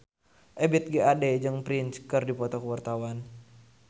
Ebith G. Ade jeung Prince keur dipoto ku wartawan